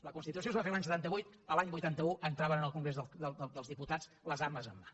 la constitució es va fer l’any setanta vuit l’any vuitanta un entraven en el congrés dels diputats les armes en mà